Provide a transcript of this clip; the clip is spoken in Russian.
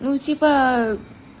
ну типа